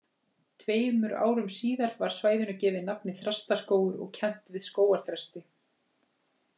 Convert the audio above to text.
Tveimur árum síðar var svæðinu gefið nafnið Þrastaskógur og kennt við skógarþresti.